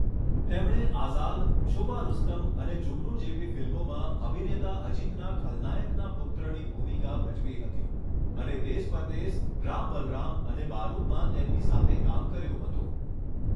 તેમણે આઝાદ, છુપા રુસ્તમ અને જુગનૂ જેવી ફિલ્મોમાં અભિનેતા અજિતના ખલનાયકના પુત્રની ભૂમિકા ભજવી હતી અને દેસ પરદેસ, રામ બલરામ અને બારુદમાં તેમની સાથે કામ કર્યું હતું.